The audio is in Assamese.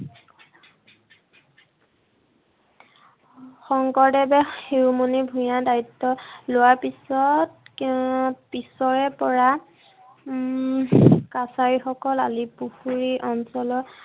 শংকৰদেৱে শিৰোমণি ভূঞাৰ দায়িত্ব লোৱাৰ পিছত, পিছৰে পৰা উম কাছাৰীসকল আলিপুখুৰী অঞ্চলৰ